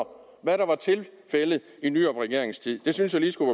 hvad der var tilfældet i nyrupregeringens tid det synes jeg lige skulle